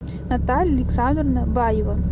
наталья александровна баева